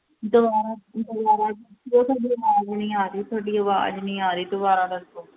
ਦੁਬਾਰਾ ਦੁਬਾਰਾ sir ਤੁਹਾਡੀ ਆਵਾਜ਼ ਨੀ ਆ ਰਹੀ, ਤੁਹਾਡੀ ਆਵਾਜ਼ ਨੀ ਆ ਰਹੀ ਦੁਬਾਰਾ ਦੱਸੋ।